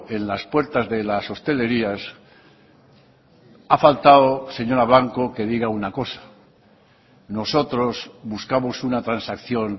en las puertas de las hostelerías ha faltado señora blanco que diga una cosa nosotros buscamos una transacción